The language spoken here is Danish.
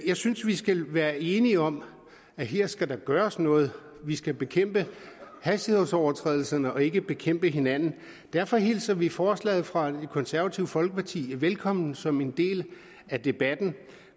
jeg synes vi skal være enige om at her skal der gøres noget vi skal bekæmpe hastighedsovertrædelserne og ikke bekæmpe hinanden derfor hilser vi forslaget fra det konservative folkeparti velkommen som en del af debatten